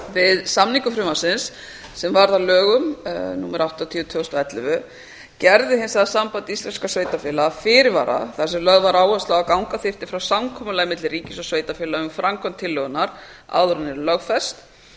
við samningu frumvarpsins sem varð að lögum númer áttatíu tvö þúsund og ellefu gerði hins vegar samband íslenskra sveitarfélaga fyrirvara þar sem lögð var áhersla á að ganga þyrfti frá samkomulagi milli ríkis og sveitarfélaga um framkvæmd tillögunnar áður en hún yrði lögfest